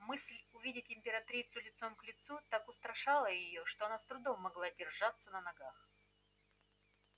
мысль увидеть императрицу лицом к лицу так устрашала её что она с трудом могла держаться на ногах